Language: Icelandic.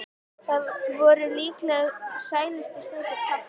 Það voru líklega sælustu stundir pabba.